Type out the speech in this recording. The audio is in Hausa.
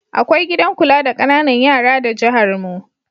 Akwai gidan kula da ƙananan yara da jiharmu.